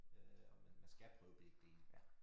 Øh og man man skal prøve begge dele